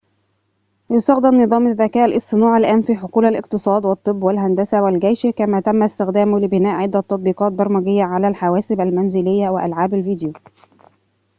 يُستخدم نظام الذكاء الاصطناعي الآن في حقول الاقتصاد والطب والهندسة والجيش كما تم استخدامه لبناء عدة تطبيقات برمجية على الحواسب المنزلية وألعاب الفيديو